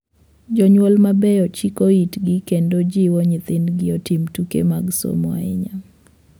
Jonyuol mabeyo chiko itgi kendo jiwo nyithindgi otim tuke mag somo ahinya.